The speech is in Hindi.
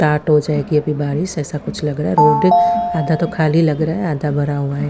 टाट हो जाईगी अभी बारिश ऐसा कुछ लग रहा है रोड आधा तो खाली लग रहा है आधा भरा हुआ है।